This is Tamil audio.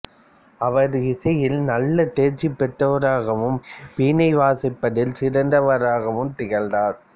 அவர் இசையில் நல்ல தேர்ச்சி பெற்றவராகவும் வீணை வாசிப்பதில் சிறந்தவராகவும் திகழ்ந்தார்